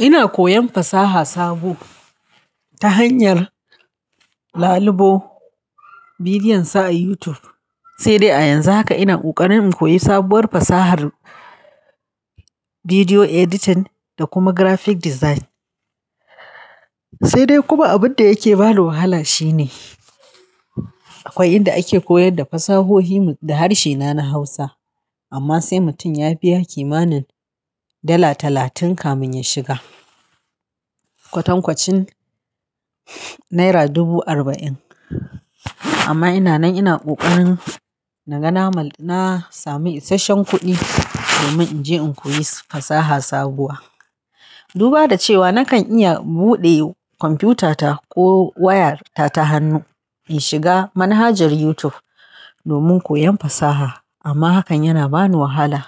Ina koyan fasaha sabo ta hanyar lalibo bidiyon sa a YouTube, sai dai a yanzu haka ina kokarin in koyi sabuwar fasahar bidiyo editing da kuma graphic design. Sai dai kuma abin da yake bani wahala shine akwai inda ake koyar da fasahohi da harshe na na Hausa amma sai mutum ya biya kimanin dala talatin kamin ya shiga, kwatan kwacin naira dubu arba'in. Amma ina nan ina kokarin na ga na sami isasshen kuɗi domin in je in koyi fasaha sabuwa. Duba da cewa nakan iya buɗe kwamfutata ko wayarta ta hannu in shiga manhajar YouTube domin koyon fasaha amma hakan yana bani wahala.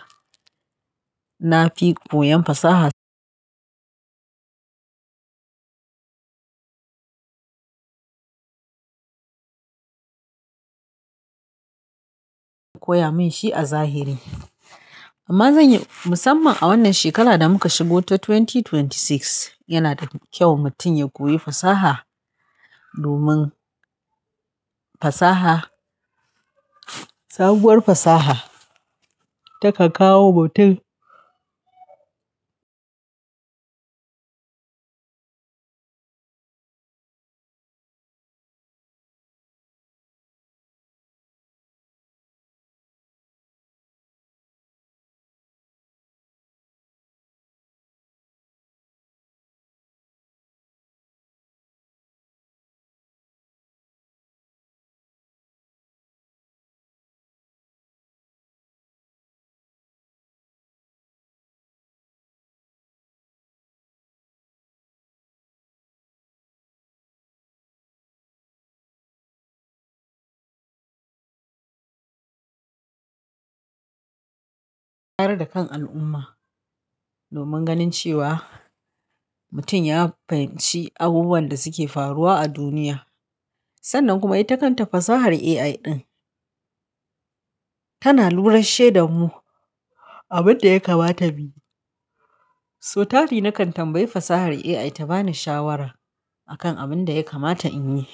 Na fi koyan fasaha koya min shi a zahiri. Amma zanyi musamman a wannan shekarar da muka shigo ta dubu biyu da ashirin da shida yana da kyau mutum ya koyi fasaha domin fasaha, sabuwar fasaha ta kan kawo mutum tare da kan al'umma domin ganin cewa mutum ya fahimci abubuwan da suke faruwa a duniya. Sannan kuma ita kanta fasahar AI ɗin tana lura sheda mu abin da ya kamata mu yi. So tari nakan tambayi fasahar AI ta bani shawara akan abin da ya kamata in yi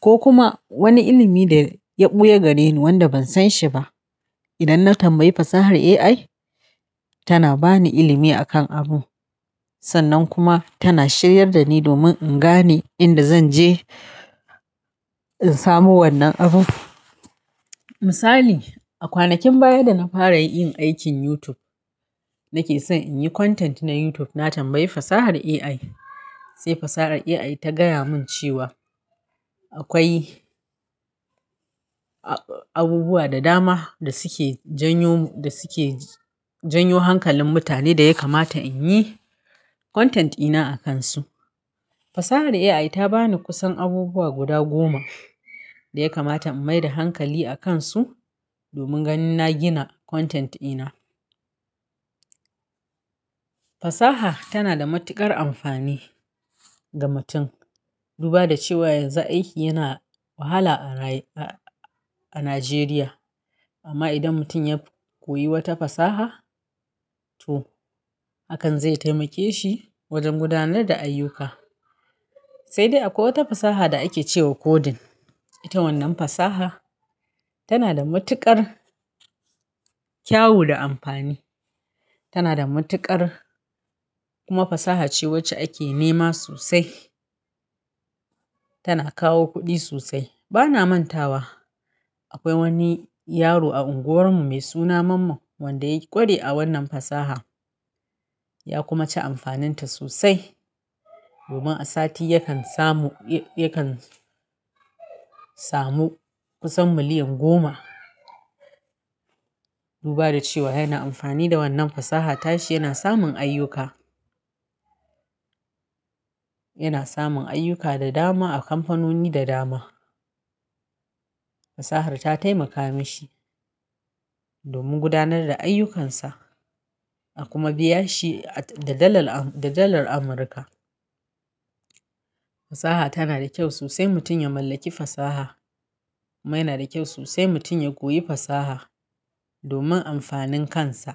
ko kuma wani ilimi da ya ɓuya gareni wanda ban san shi ba. Idan na tambayi fasahar AI tana bani ilimi akan abu sannan kuma tana shiryar da ni domin in gane inda zan je in samu wannan abu. Misali, a kwanakin baya da na fara yin aikin YouTube nake son in yi content na YouTube na tambayi fasahar AI sai fasahar AI ta gaya mun cewa akwai abubuwa da dama da suke janyo, da suke janyo hankalin mutane da ya kamata in yi content ina a kansu. Fasahar AI ta bani kusan abubuwa guda goma da ya kamata in maida hankali a kansu domin ganin na gina content ina. Fasaha tana da matuƙar amfani ga mutum dubba da cewa yanzu aiki yana wahala a Najeriya. Amma idan mutum ya koyi wata fasaha toh hakan zai taimake shi wajen gudanar da ayyuka. Sai dai akwai wata fasaha da ake cewa coding, ita wannan fasaha tana da matuƙar kyau da amfani. Tana da matuƙar kuma fasaha ce wacce ake nema sosai. Tana kawo kuɗi sosai. Bana manta wa akwai wani yaro a unguwarmu mai suna Mamman wanda ya yi ƙware a wannan fasaha ya kuma ci amfaninta sosai domin a sati yakan samu, yakan samu kusan miliyan goma. Duba da cewa yana amfani da wannan fasaha tashi yana samun ayyuka. Yana samun ayyuka da dama a kamfanoni da dama. Fasahar ta taimaka mishi domin gudanar da ayyukansa a kuma biya shi da dalar Amurka. Fasaha tana da kyau sosai mutum ya mallaki fasaha kuma yana da kyau sosai mutum ya koyi fasaha domin amfanin kansa.